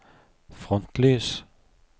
frontlys